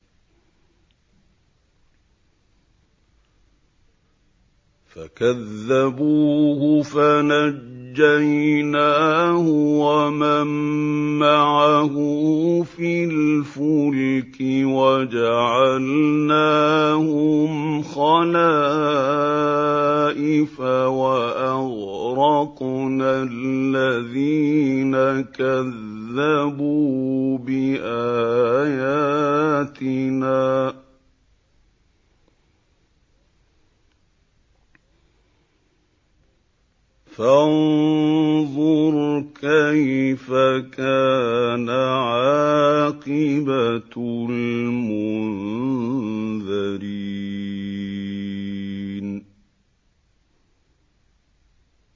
فَكَذَّبُوهُ فَنَجَّيْنَاهُ وَمَن مَّعَهُ فِي الْفُلْكِ وَجَعَلْنَاهُمْ خَلَائِفَ وَأَغْرَقْنَا الَّذِينَ كَذَّبُوا بِآيَاتِنَا ۖ فَانظُرْ كَيْفَ كَانَ عَاقِبَةُ الْمُنذَرِينَ